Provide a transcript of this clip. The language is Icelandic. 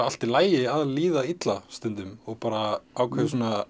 allt í lagi að líða illa stundum og ákveðið svona